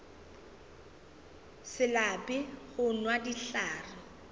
se lape go nwa dihlare